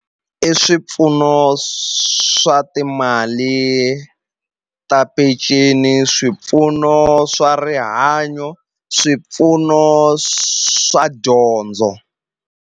I swipfuno swa timali ta peceni swipfuno swa rihanyo swipfuno swa dyondzo.